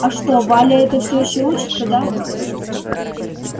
а что валя эта все ещё учится да